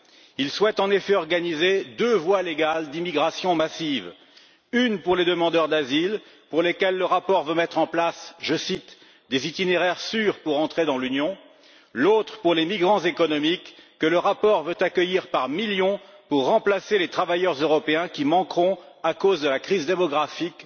Il souhaite en effet organiser deux voies légales d'immigration massive l'une pour les demandeurs d'asile, pour lesquels le rapport veut mettre en place je cite des itinéraires sûrs pour entrer dans l'Union, l'autre pour les migrants économiques, que le rapport veut accueillir par millions pour remplacer les travailleurs européens qui manqueront à cause de la crise démographique,